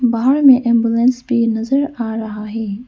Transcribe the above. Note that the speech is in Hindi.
बाहर में एंबुलेंस भी नजर आ रहा है।